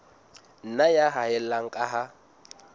nna ya haella ka ha